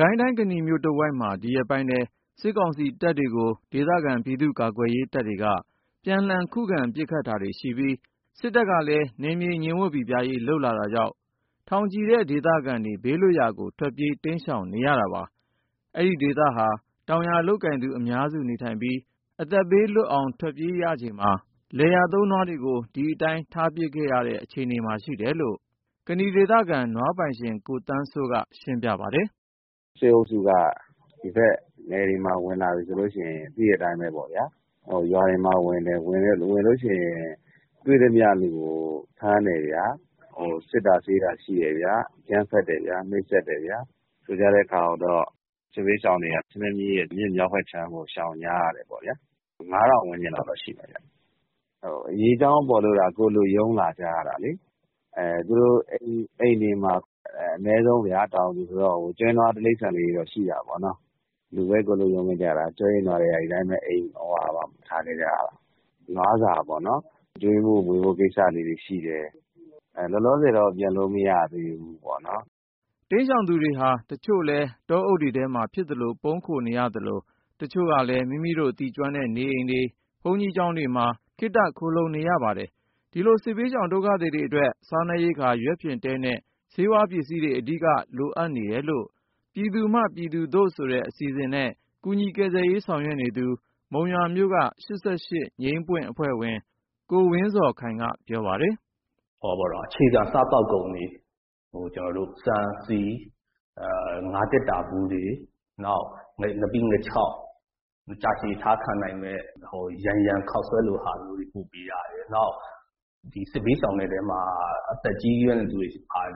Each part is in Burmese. ကိုင်းတိုင်း ကနီမြို့တဝိုက်မှာ ဒီရက်ပိုင်းထဲ စစ်ကောင်စီတပ်တွေကို ဒေသခံ ပြည်သူ့ကာကွယ်ရေးတပ်တွေက ပြန်လှန်ခုခံ ပစ်ခတ်တာတွေရှိပြီး၊ စစ်တပ်ကလည်း နယ်မြေငြိမ်ဝပ်ပိပြားရေး လုပ်လာတာကြောင့် ထောင်ချီတဲ့ ဒေသခံတွေ ဘေးလွတ်ရာကို ထွက်ပြေး တိမ်းရှောင်နေရတာပါ။ အဲဒီဒေသဟာ တောင်ယာလုပ်ကိုင်သူ အများစုနေထိုင်ပြီး ၊ အသက်ဘေးလွတ်အောင် ထွက်ပြေးရချိန်မှာ လယ်ယာသုံး နွားတွေကို ဒီအတိုင်း ထားပစ်ခဲ့ရတဲ့ အခြေအနေမှာရှိတယ်လို့ ကနီဒေသခံ နွားပိုင်ရှင် ကိုသန်းစိုးက ရှင်းပြပါတယ်။ " စစ်အုပ်စုက ဒီဖက်နယ်တွေမှာ ရွာတွေကို ဝင်လာလို့ရှိရင် တွေ့သမျှလူကို ဖမ်းတယ်ဗျာ ၊ စစ်တာဆေးတာ ရှိတယ်၊ အကြမ်းဖက်တယ်ဗျာ နှိပ်စက်တယ်ဗျာ ၊ ဆိုတဲ့အခါရောက်တော့ စစ်ဘေးရှောင်တွေက ချင်းတွင်းမြစ်ရဲ့ မြောက်ဖက်အခြမ်းကို ရှောင်တိမ်း ကြရတယ်ပေါ့ဗျာ။ ၅၀၀၀ ဝန်းကျင်လောက်တော့ ရှိမယ်။ အရေးအကြောင်း ပေါ်လို့သာ ကိုယ်လွတ် ရုန်းလာကြရတာလေ၊ တောင်သူတွေဆိုတော့ အနည်းဆုံး ကျွဲနွား တိရာစ္ဆာန်တွေ ရှိကြတာပေါ့။ ဒီတိုင်းထွက်လာရပြီး ကျွဲနွားတွေ ထားပစ်ခဲ့ရတဲ့ခါရောက်တော့ နွားစာ ကျွေးဖို့မွေးဖို့ကိစ္စတွေ ရှိနေတယ်။ ဒါပေမဲ့ လောလောဆယ်တော့ ပြန်လို့ မရသေးဘူးပေါ့နော်။ " တိမ်းရှောင်သူတွေဟာ တချို့လည်း တောအုပ်တွေထဲမှာ ဖြစ်သလို ပုန်းခိုနေရသလို ၊ တချို့ကလည်း မိမိတို့ သိကျွမ်းတဲ့နေအိမ်တွေ ဘုန်းကြီးကျောင်းတွေမှာ ခေတ္တခိုလှုံနေရပါတယ်။ ဒီလို စစ်ဘေးရှောင်ဒုက္ခသည်တွေအတွက် စားနပ်ရိက္ခာ၊ ရွက်ဖျင်တဲနဲ့ ဆေးဝါးပစ္စည်းတွေ အဓိက လိုအပ်နေတယ်လို့ 'ပြည်သူမှ ပြည်သူသို့' ဆိုတဲ့ အစီအစဉ်နဲ့ ကူညီကယ်ဆယ်ရေး ဆောင်ရွက်နေသူ မုံရွာမြို့က ၈၈ အဖွဲ့ဝင် ကိုဝင်းဇော်ခိုင်က ပြောပါတယ်။ " အခြေခံ စားသောက်ကုန်တွေဖြစ်တဲ့ ဆန်၊ ဆီ၊ ငါးသေတ္တာဗူး၊ နောက် ငါးပိငါးခြောက် ၊ ကြာရှည် အထားခံနိုင်မယ့် ယန်ယန်ခေါက်ဆွဲခြောက်လို ဟာမျိုးတွေ ပို့ပေးရတယ်။ နောက် ဒီစစ်ဘေးရှောင်ထဲမှာ အသက်ကြီးတဲ့သူတွေရော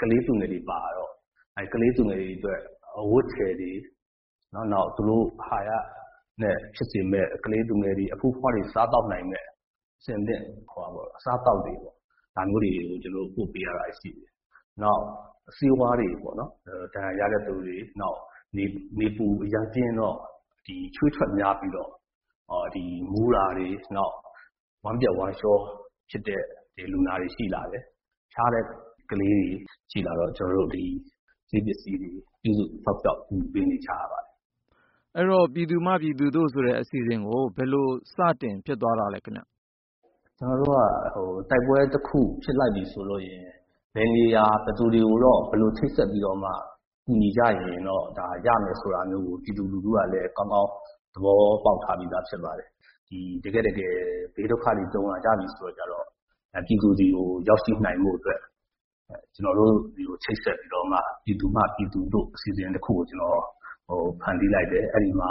ကလေးသူငယ်တွေပါ ပါတယ်ပေါ့။ အဲဒီကလေး သူငယ်တွေအတွက် အဝတ်အထည်တွေ နောက် သူတို့ အဟာရဖြစ်စေမယ့် အဆင်သင့် စားသောက်နိုင်မယ့် အစားအသောက်တွေပေါ့ ဒါမျိုးတွေကို ကျနော်တို့ ပို့ပေးနေရတာတွေ ရှိပါတယ်။ နောက်ပြီး ဒဏ်ရာရတဲ့သူတွေအတွက် ဆေးဝါးပေါ့နော် ၊ နောက်ပြီး နေပူတာအရမ်းပြင်းတော့ ချွေးထွက်များပြီးတော့ မူးတာတွေ ဝမ်းပျက်ဝမ်းလျော ဖြစ်တဲ့လူနာတွေ ရှိလာတယ်။ ဖျားတဲ့ ကလေးတွေရှိလာတော့ ကျနော်တို့ ဒီဆေးပစ္စည်းတွေကို ပို့ပေးနေရပါတယ်။" မေး ။ ။ အဲဒီတော့ 'ပြည်သူမှ ပြည်သူသို့' ဆိုတဲ့ အစီအစဉ်ကို ဘယ်လို စတင်ဖြစ်သွားတာလဲခင်ဗျ။ ဖြေ ။ ။ ကျနော်တို့က တိုက်ပွဲတခု ဖြစ်လိုက်ပြီ ဆိုလို့ရှိရင် ဘယ်နေရာမှာ ဘယ်သူတွေနဲ့ ဘယ်လိုချိတ်ဆက် ပြီးတော့မှ ကူညီကြရင်.. ဒါ ရမယ်ဆိုတာကို ပြည်သူတွေဖက်ကလည်း ကောင်းကောင်း သိနေပုံရပါတယ်။ တကယ်တမ်း ဘေးဒုက္ခတွေ ကြုံလာကြတဲ့အချိန်မှာ ပြည်သူတွေလက်ထဲကို ရောက်ရှိနိုင်ဖို့အတွက် ကျနော်တို့ဆီကို လာချိတ်ဆက် ပြီးတော့မှ ပြည်သူမှပြည်သူသို့ ဆိုတဲ့ အစီအစဉ်တခုကို ကျနော် ဖန်တီးလိုက်တယ်။ အဲဒီမှာ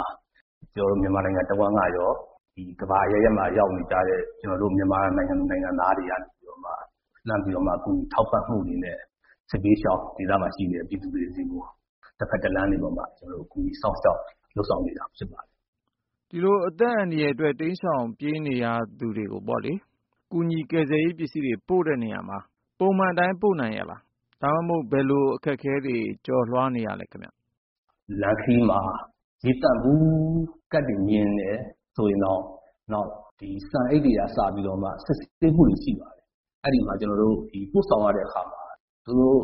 မြန်မာနိုင်ငံ တဝှမ်းကရော ကမ္ဘာအရပ်ရပ်မှာ ရောက်နေကြတဲ့ မြန်မာနိုင်ငံသူ နိုင်ငံသားတွေကနေ လှမ်းပြီးတော့ ကူညီထောက်ပံ့မှုတွေနဲ့ စစ်ဘေးရှောင်ဒေသမှာရှိတဲ့ ပြည်သူတွေဆီကို တဖက်တလမ်းကနေပြီး ကူညီစောင့်ရှောက် လုပ်ဆောင်နေတာ ဖြစ်ပါတယ်။ မေး ။ ။ ဒီလို အသက်အန္တရာယ်အတွက် တိမ်းရှောင် ပြေးနေရသူတွေကို ကူညီကယ်ဆယ်ရေး ပစ္စည်းတွေ ပိုတဲ့နေရာမှာ ပုံမှန်အတိုင်း ပို့နိုင်ရဲ့လား။ ဘယ်လိုအခက်အခဲတွေ ကျော်လွှားရသေးလဲ ခင်ဗျ။ ဖြေ ။ ။.လမ်းခရီးမှာ ရေသန့်ဗူးကဒ်တွေ မြင်တယ်ဆိုရင်တောင် အရမ်းစစ်တယ်။ ဆန်အိတ်တွေကအစ စစ်ဆေးမှုတွေများတယ်။ အဲဒီတော့ ကျနော်တို့ ပို့ဆောင်ရတဲ့အခါမှာ သူတို့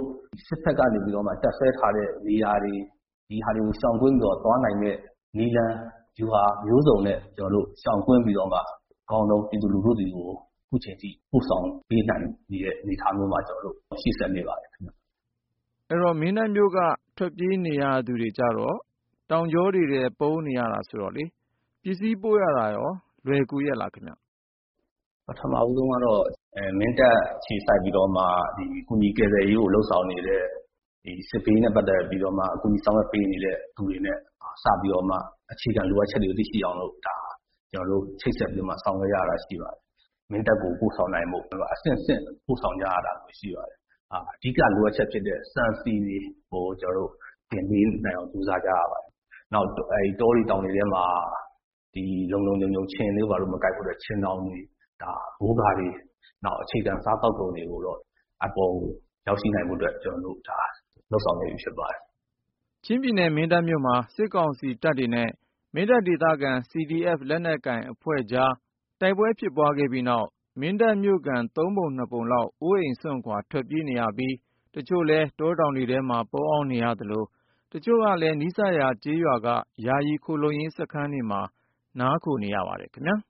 စစ်တပ်ကနေပြီး တပ်စွဲထားတဲ့ နေရာတွေ၊ အဲဒီဟာတွေကို ရှောင်ကွင်းပြီးတော့ သွားနိုင်တဲ့ နည်းလမ်း ဗျူဟာမျိုးစုံနဲ့ ကျနော်တို့ ရှောင်ကွင်းပြီးမှ ပြည်သူလူထုဆီ ရောက်အောင် အကောင်းဆုံးနည်းနဲ့ ခုချိန်ထိ ကျနော်တို့ ပို့နေတာဖြစ်ပါတယ်။ မေး ။ ။ မင်းတပ်မြို့က ထွက်ပြေးနေရသူတွေကျတော့ တောင်ကြောတွေထဲ ပုန်းနေရတာဆိုတော့ ပစ္စည်းပို့ရတာ လွယ်ကူရဲ့လားခင်ဗျ။ ဖြေ ။ ။ ပထမဦးဆုံးကတော့ မင်းတပ်မှာ အခြေစိုက်ပြီးတော့ စစ်ဘေးနဲ့ပတ်သက်လို့ ကူညီကယ်ဆယ်ရေးကို လုပ်ဆောင်နေတဲ့ သူတွေနဲ့ဆက်သွယ်ပြီး သူတို့ရဲ့ အခြေခံလိုအပ်ချက်က ဘာလဲဆိုတာကို အရင်သိအောင် ချိတ်ဆက်ပြီး လုပ်ရပါတယ်။ မင်းတပ်ကို ပစ္စည်းပို့တာကျတော့ အဆင့်ဆင့် ပို့ဆောင်ရတာ ရှိပါတယ်။ အဓိက လိုအပ်ချက်ဖြစ်တဲ့ ဆန်ဆီကို တောင်ပေါ် တင်ပေးနိုင်အောင် ကြိုးစားကြရပါတယ်။ နောက်ပြီး တောတွေ တောင်တွေထဲမှာ ခြင်တွေဘာတွေ မကိုက်ဖို့အတွက် - ခြင်ထောင်တွေ၊ မိုးကာတွေ ၊ နောက် အခြေခံ စားသောက်ကုန်တွေကို အပေါ်ကို ရောက်ရှိနိုင်ဖို့အတွက် ကျနော်တို့ လုပ်ဆောင်နေတာ ဖြစ်ပါတယ်။ ပြီးခဲ့တဲ့ သီတင်းပတ်ထဲ ချင်းပြည်နယ် မင်းတပ်မြို့မှာ စစ်ကောင်စီတပ်တွေနဲ့ မင်းတပ်ဒေသခံ CDF လက်နက်ကိုင်အဖွဲ့ကြား တိုက်ပွဲဖြစ်ပွားခဲ့ပြီးနောက် မင်းတပ်မြို့ခံ ၃ ပုံ ၂ ပုံလောက် အိုးအိမ်စွန့် ခွာ ထွက်ပြေးနေရပြီး ၊ တချို့လည်း တောတောင်တွေထဲမှာ ပုံးအောင်းနေရသလို တချို့လည်း နီးစပ်ရာ ကျေးရွာက ယာယီခိုလှုံရေးစခန်းတွေမှာ နားခိုနေရပါတယ်ခင်ဗျာ။